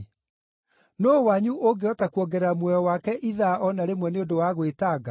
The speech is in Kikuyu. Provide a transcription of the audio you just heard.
Nũũ wanyu ũngĩhota kuongerera muoyo wake ithaa o na rĩmwe nĩ ũndũ wa gwĩtanga?